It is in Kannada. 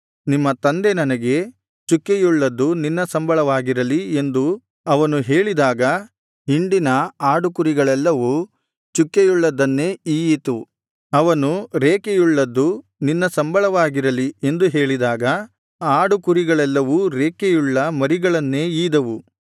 ನಿಮ್ಮ ತಂದೆ ನನಗೆ ಚುಕ್ಕೆಯುಳ್ಳದ್ದು ನಿನ್ನ ಸಂಬಳವಾಗಿರಲಿ ಎಂದು ಅವನು ಹೇಳಿದಾಗ ಹಿಂಡಿನ ಆಡುಕುರಿಗಳೆಲ್ಲವೂ ಚುಕ್ಕೆಯುಳ್ಳದ್ದನ್ನೇ ಈಯಿತು ಅವನು ರೇಖೆಯುಳ್ಳದ್ದು ನಿನ್ನ ಸಂಬಳವಾಗಿರಲಿ ಎಂದು ಹೇಳಿದಾಗ ಆಡುಕುರಿಗಳೆಲ್ಲವೂ ರೇಖೆಯುಳ್ಳ ಮರಿಗಳನ್ನೇ ಈದವು